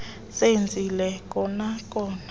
zenzile kona kona